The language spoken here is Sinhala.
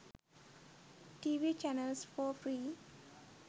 tv channels for free